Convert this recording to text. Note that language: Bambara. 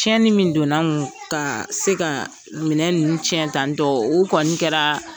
Tiɲɛni min donna an kun ka se ka nin minɛn ninnu tiɲƐ tantƆ o kɔni kɛra